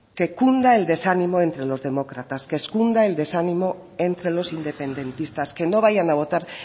que cunda el desánimo entre los demócratas que cunda el desánimo entre los independentistas que no vayan a votar